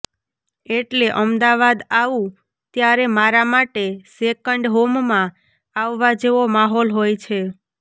એટલે અમદાવાદ આવું ત્યારે મારા માટે સેકન્ડ હોમમાં આવવા જેવો માહોલ હોય છે